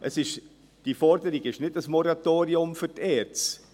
Diese Forderung ist nicht ein Moratorium für die ERZ;